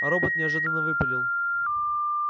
робот неожиданно выпалил